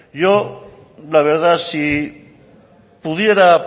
yo la verdad si pudiera